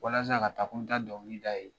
Walasa ka ta ko n bɛ taa dɔnkili da a ye.